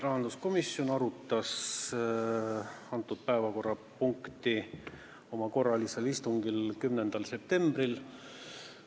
Rahanduskomisjon arutas seda päevakorrapunkti oma korralisel istungil 10. septembril.